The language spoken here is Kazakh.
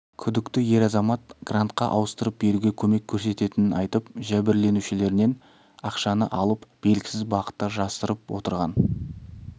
күдікті ер азамат грантқа ауыстырып беруге көмек көрсететінін айтып жәбірленушілерінен ақшаны алып белгісіз бағытта жасырынып отырған